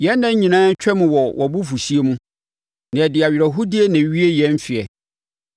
Yɛn nna nyinaa twam wɔ wʼabufuhyeɛ mu; na yɛde awerɛhoɔdie na ɛwie yɛn mfeɛ.